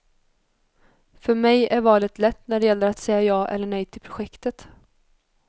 För mig är valet lätt när det gäller att säga ja eller nej till projektet.